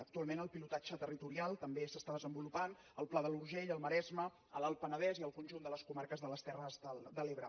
actualment el pilotatge territorial també s’està desenvolupant al pla de l’urgell al maresme a l’alt penedès i al conjunt de les comarques de les terres de l’ebre